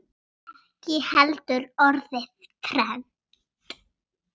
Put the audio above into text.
Ekki heldur orðið trend.